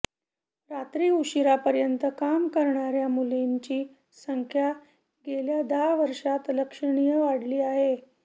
रात्री उशिरापर्यंत काम करणाऱ्या मुलींची संख्या गेल्या दहा वर्षांत लक्षणीय वाढली आहे